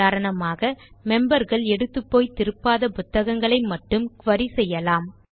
உதாரணமாக memberகள் எடுத்துப்போய் திருப்பாத புத்தகங்களை மட்டும் குரி செய்யலாம்